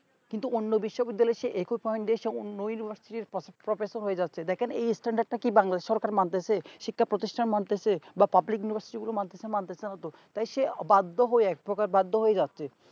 কিন্তু অন্য বিশ্ববিদ্যালয় এ university অন্য standard র হয়ে যাচ্ছে এই স্থান তা কি বাংলা সরকার মানতেছে শিক্ষা প্রতিষ্টান মানতেছে বা public-university গুলি মানতেছে মানতেছে না তো তাই সে বদ্ধ হয় এক প্রকার বাধ্য হয়ে যাচ্ছে